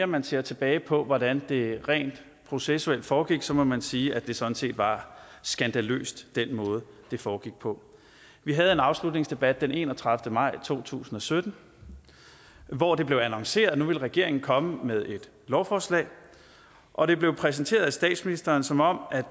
man ser tilbage på hvordan det rent processuelt foregik så må man sige at det sådan set var skandaløst med den måde det foregik på vi havde en afslutningsdebat den enogtredivete maj to tusind og sytten hvor det blev annonceret at nu ville regeringen komme med et lovforslag og det blev præsenteret af statsministeren som om